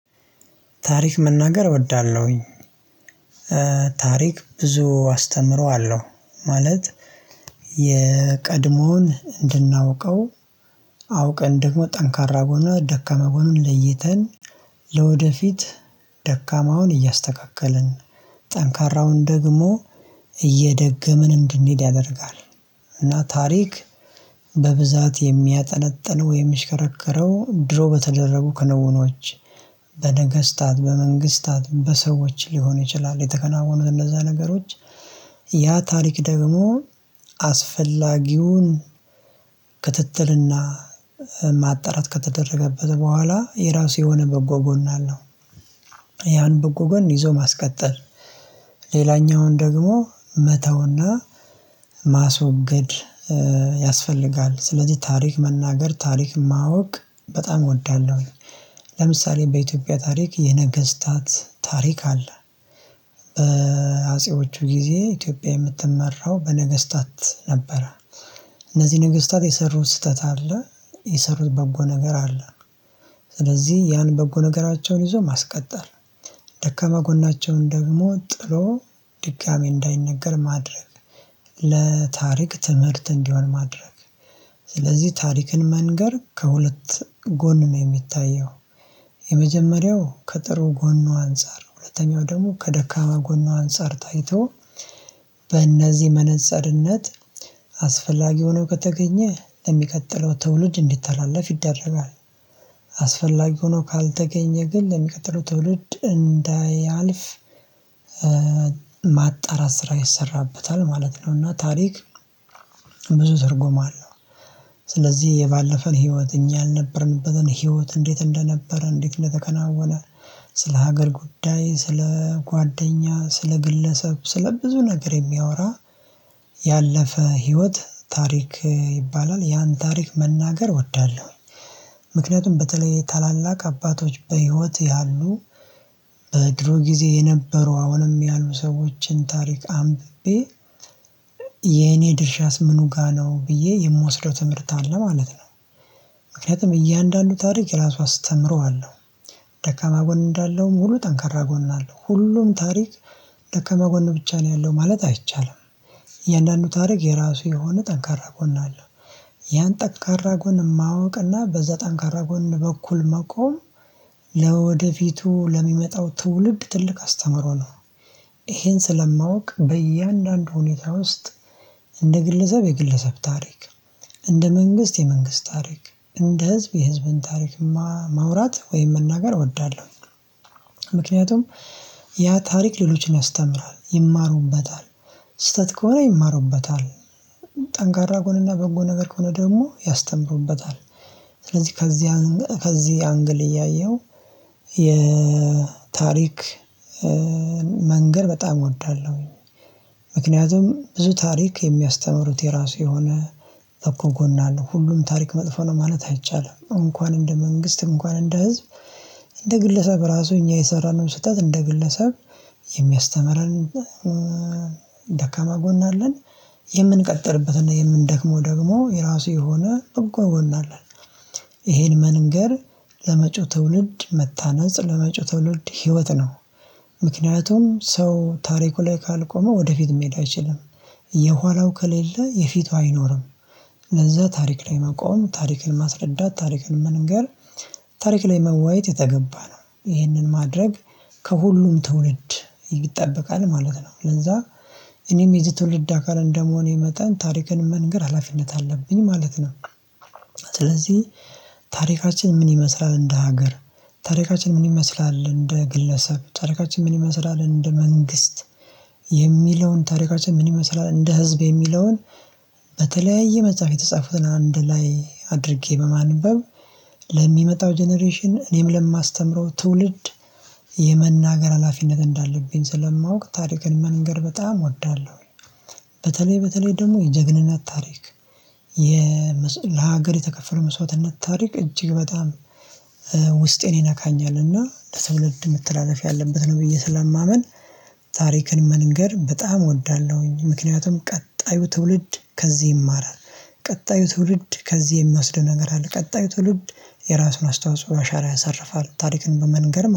ታሪክ መናገር እወዳለሁኝ። ታሪክ ብዙ አስተምረዋለሁ ማለት የቀድሞን እንድናውቀው አውቀን ደግሞ ጠንካራ ጎን እና ደካማ ጎኑን ለይተን ለወደፊት ደካማውን እያስተካከልን ጠንካራውን ደግሞ እየደገምን እንድንሄድ ያደርጋል። እና ታሪክ በብዛት የሚያጠነጥን ወይም የሚሽከረከረው ድሮ በተደረጉ ክንውኖች በነገስታት በመንግስታት በሰዎች ሊሆን ይችላል የተከናወኑን እንደዛ ነገሮች ያ ታሪክ ደግሞ አስፈላጊውን ክትትልና ማጣራት ከተደረገበት በኋላ የራሱ የሆነ በጎ ጎን አለው። ያን በጎ ጎን ይዞ ማስቀጠል ሌላኛውን ደግሞ መተውና ማስወገድ ያስፈልጋል ስለዚህ ታሪክ መናገር ታሪክ ማወቅ በጣም እወዳለሁ። ለምሳሌ በኢትዮጵያ ታሪክ የነገስታት ታሪክ አለ በአጼዎቹ ጊዜ ኢትዮጵያ የምትመራው በነገስታት ነበረ። እነዚህ ነገስታት የሰሩት ስህተት አለ የሰሩት በጎ ነገር አለ። ስለዚህ ያን በጎ ነገራቸውን ይዞ ማስቀጠል ደካማ ጎናቸውን ደግሞ ጥሎ ድጋሚ እንዳይነገር ማድረግ ለታሪክ ትምህርት እንዲሆን ማድረግ ስለዚህ ታሪክን መንገር ከሁለት ጎን ነው የሚታየው። የመጀመሪያው ከጥሩ ጎኑ አንፃር ሁለተኛው ደግሞ ከደካማ ጎኑ አንፃር ታይቶ በእነዚህ መነፀርነት አስፈላጊ ሆኖ ከተገኘ ለሚቀጥለው ትውልድ እንዲተላለፍ ይደረጋል። አስፈላጊ ሆኖ ካልተገኘ ግን ለሚቀጥለው ትውልድ እንዳያልፍ ማጣራት ስራ ይሰራበታል ማለት ነው። እና ታሪክ ብዙ ትርጉም አለው። ስለዚህ የባለፈን ህይወት እኛ አልነበረንበትን ህይወት እንዴት እንደነበረ እንዴት እንደተከናወነ ስለ ሀገር ጉዳይ ስለ ጓደኛ ስለ ግለሰብ ስለ ብዙ ነገር የሚያወራ ያለፈ ህይወት ታሪክ ይባላል። ያን ታሪክ መናገር እወዳለሁኝ። ምክንያቱም በተለይ ታላላቅ አባቶች በህይወት ያሉ በድሮ ጊዜ የነበሩ አሁንም ያሉ ሰዎችን ታሪክ አንብቤ የኔ ድርሻስ ምኑ ጋር ነው ብዬ የምወስደው ትምህርት አለ ማለት ነው። ምክንያቱም እያንዳንዱ ታሪክ ራሱ አስተምረዋለሁ ደካማ ጎን እንዳለው ሙሉ ጠንከራ ጎን አለው። ሁሉም ታሪክ ደከመ ጎን ብቻ ነው ያለው ማለት አይቻልም። የእያንዳንዱ ታሪክ የራሱ የሆነ ጠንካራ ጎን አለ። ያን ጠንካራ ጎን ማወቅ እና በዘዛ ጠንካራ ጎን በኩል መቆም ለወደፊቱ ለሚመጣው ትውልድ ትልቅ አስተምሮ ነው። ይሄን ስለማውቅ በእያንዳንዱ ሁኔታ ውስጥ እንደ ግለሰብ የግለሰብ ታሪክ እንደ መንግስት የመንግስት ታሪክ እንደ ህዝብ የህዝብን ታሪክ ማውራት ወይም መናገር እወዳለሁ። ምክንያቱም ያ ታሪክ ሌሎችን ያስተምራል ይማሩበታል ስህተት ከሆነ ይማሩበታል። ጠንካራ ጎንና በጎ ነገር ከሆነ ደግሞ ያስተምሩበታል። ስለዚህ ከዚህ አንግል ከዚህ አንግል እያየሁ የታሪክ መንገር በጣም እወዳለሁኝ። ምክንያቱም ብዙ ታሪክ የሚያስተምሩት የራሱ የሆነ በጎ ጎን አለው ሁሉም ታሪክ መጥፎ ነው ማለት አይቻልም። እንኳን እንደ መንግስት እንኳን እንደ ህዝብ እንደ ግለሰብ ራሱ እኛ የሰራነውን ስህተት እንደ ግለሰብ የሚያስተምረን። ደካማ ጎን አለን። የምንቀጥልበትና የምንደክመው ደግሞ የራሱ የሆነ በጎ ጎን አለን። ይሄን መንገር ለመጪው ትውልድ መታነጽ ለመጭው ትውልድ ህይወት ነው። ምክንያቱም ሰው ታሪኩ ላይ ካልቆመ ወደፊት መሄድ አይችልም። የኋላው ከሌለ የፊቷ አይኖርም። ለዛ ታሪክ ላይ መቆም ታሪክን ማስረዳት ታሪክን መንገር ታሪክ ላይ መዋየት የተገባ ነው ይህንን ማድረግ ከሁሉም ትውልድ ይጠበቃል ማለት ነው። ለዛ እኔም የዚህ ትውልድ አካል እንደመሆኔ መጠን ታሪክን መንገር ሀላፊነት አለብኝ ማለት ነው። ስለዚህ ታሪካችን ምን ይመስላል እንደ ሀገር ታሪካችን ምን ይመስላል እንደ ግለሰብ ታሪካችን ምን ይመስላል እንደ መንግስት የሚለውን ታሪካችን ምን ይመስላል እንደ ህዝብ የሚለውን በተለያየ መጽሐፍ የተጻፈውን አንድ ላይ አድርጌ በማንበብ ለሚመጣው ጀነሬሽን እኔም ለማስተምረው ትውልድ የመናገር ሀላፊነት እንዳለብኝ ስለማውቅ ታሪክን መንገር በጣም እወዳለሁ። በተለይ በተለይ ደግሞ የጀግንነት ታሪክ የ ለሀገር የተከፈለ መስዋዕትነት ታሪክ እጅግ በጣም ውስጤን ይነካኛል። እና ለትውልድም መተላለፍ ያለበት ነው ብዬ ስለማምን ታሪክን መንገር በጣም እወዳለሁኝ። ምክንያቱም ቀጣዩ ትውልድ ከዚህ ይማራል። ቀጣዩ ትውልድ ከዚህ የሚወስደው ነገር አለ። ቀጣዩ ትውልድ የራሱን አስተዋጽኦ አሻራ ያሳርፋል ታሪክን በመንገርም